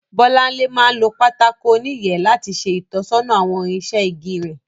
Bọ́láńlé máa ń lo pátákó oníyẹ̀ẹ́ láti ṣe ìtọ́sọ́nà àwọn irinṣẹ́ igi rẹ̀